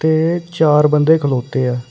ਇਹ ਚਾਰ ਬੰਦੇ ਖਲੋਤੇ ਆ।